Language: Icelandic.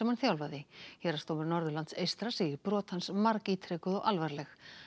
hann þjálfaði héraðsdómur Norðurlands eystra segir brot mannsins margítrekuð og alvarleg